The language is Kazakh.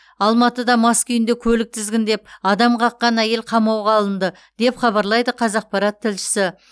алматыда мас күйінде көлік тізгіндеп адам қаққан әйел қамауға алынды деп хабарлайды қазақпарат тілшісі